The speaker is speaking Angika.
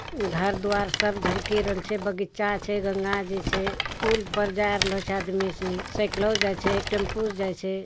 घर द्वार सब झलकई रइल छे। बगीचा छे गंगा जी छे। पुल पर जाय रहलो सायकलो से जाय छे टेम्पोओ से जाय छे।